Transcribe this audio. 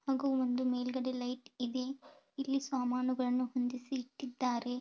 ಹಾಗೂ ಒಂದು ಮೇಲ್ಗಡೆ ಲೈಟ್ ಇದೆ ಇಲ್ಲಿ ಸಾಮಾನುಗಳನ್ನು ಹೊಂದಿಸಿ ಇಟ್ಟಿದ್ದಾರೆ.